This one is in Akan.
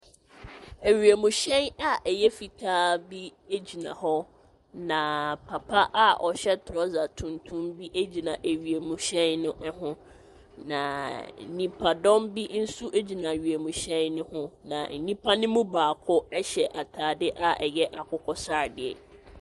Awiemhyɛn a ɛyɛ fitaa bi agyina hɔ na papa a ɔhyɛ trɔsa tuntum bi agyina awiemhyɛn no ɛho, na nnipadɔm bi nso agyina awiemhyɛn no ho. Na nnipa no mu baako ɛhyɛ ataade a ɛyɛ akokɔsradeɛ.